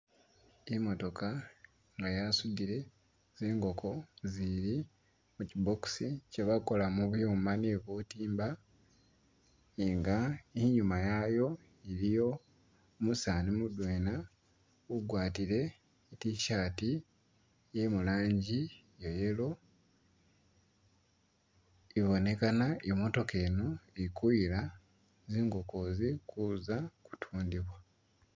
Imotooka nga yasudile zingoko zili mu kyi'box kyebakola mu byuma bye butimba nga inyuma yayo iliyo umusaani mudwena ugwatie i'tshirt ye mulanji ye yellow, ibonekana imotooka eno ili kuyila zingoko izi kuza kutundibwa